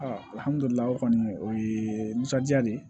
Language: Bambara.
kɔni o ye nisɔndiya de ye